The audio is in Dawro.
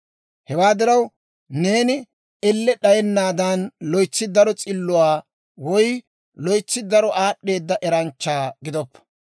Hewaa diraw, neeni elle d'ayennaadan, loytsi daro s'illuwaa woy loytsi daro aad'd'eeda eranchcha gidoppa.